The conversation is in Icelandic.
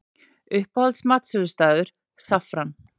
Uppáhalds matsölustaður: Saffran